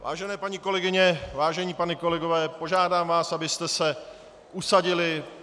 Vážené paní kolegyně, vážení páni kolegové, požádám vás, abyste se usadili.